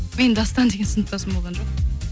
менің дастан деген сыныптасым болған жоқ